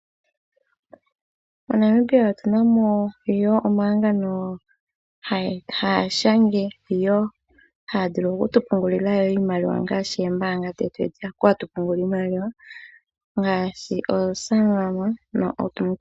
MoNamibia otuna mo wo omahangano haga shanga wo, haga vulu okutu pungulila wo iimaliwa ngaashi oombanga dhetu hono hatu pungulile iimaliwa ngaashi oSanlam nOld Mutual.